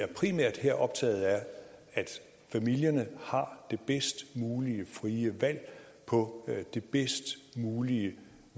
vi primært optaget af at familierne har det bedst mulige frie valg på det bedst mulige